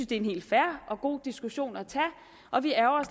det er en helt fair og god diskussion at tage og vi ærgrer